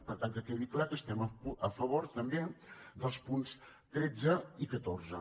per tant que quedi clar que estem a favor també dels punts tretze i catorze